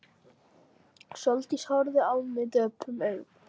Sóldís horfði á mig döprum augum.